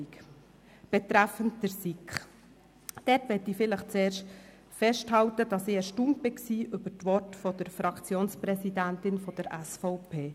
Betreffend die SiK möchte ich zuerst festhalten, dass ich erstaunt war über die Worte der Fraktionspräsidentin der SVP.